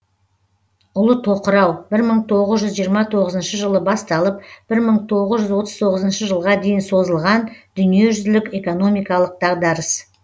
ұлы тоқырау бір мың тоғыз жүз жиырма тоғызыншы жылы басталып бір мың тоғыз жүз отыз тоғызыншы жылға дейін созылған дүниежүзілік экономикалық дағдарыс